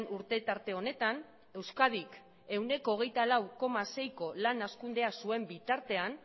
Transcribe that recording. urte tarte honetan euskadik ehuneko hogeita lau koma seiko lan hazkundea zuen bitartean